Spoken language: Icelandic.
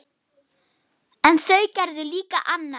En þau gerðu líka annað.